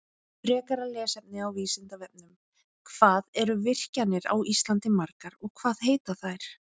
Frekara lesefni á Vísindavefnum: Hvað eru virkjanir á Íslandi margar og hvað heita þær?